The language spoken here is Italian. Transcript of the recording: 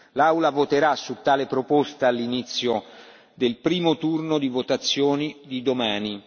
L'Aula voterà su tale proposta all'inizio del primo turno di votazione di domani.